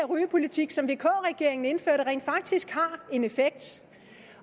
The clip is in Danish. rygepolitik som vk regeringen tidligere indførte rent faktisk har en effekt